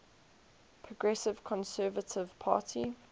progressive conservative party